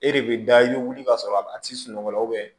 E de bɛ da i bɛ wuli ka sɔrɔ a tɛ sunɔgɔ la